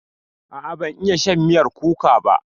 A'a ban iya shan miyar kuka ba.